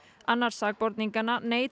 annar sakborninganna neitar